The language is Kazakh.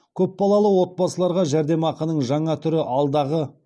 көпбалалы отбасыларға жәрдемақының жаңа түрі алдағы